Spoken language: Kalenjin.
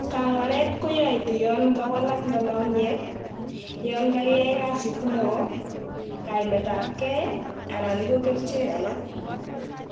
Kangwaret koyoitu yan kawalak lolong'iet, yan kagiyai kasit neo, kaimet ab gei anan ko kerichek alak